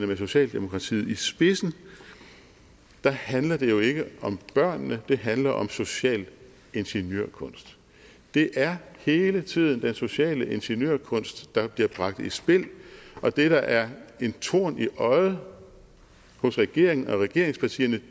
med socialdemokratiet i spidsen handler det jo ikke om børnene men det handler om social ingeniørkunst det er hele tiden den sociale ingeniørkunst der bliver bragt i spil og det der er en torn i øjet på regeringen og regeringspartierne